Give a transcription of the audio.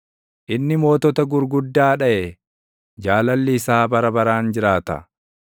inni mootota gurguddaa dhaʼe; Jaalalli isaa bara baraan jiraata.